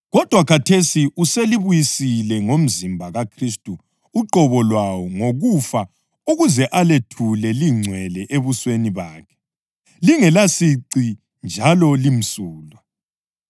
Kodwa khathesi uselibuyisile ngomzimba kaKhristu uqobo lwawo ngokufa ukuze alethule lingcwele ebusweni bakhe, lingelasici njalo limsulwa.